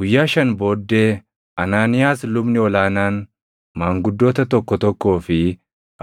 Guyyaa shan booddee Anaaniyaas lubni ol aanaan maanguddoota tokko tokkoo fi